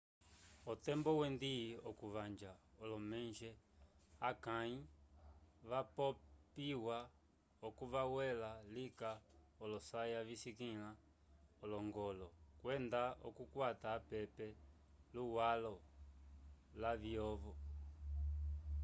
otembo wendi okuvanja olomonje akãyi vapopiwa oco vawela lika olosaya visikĩla olongolo kwenda oukwata apepe luwalo lavyovo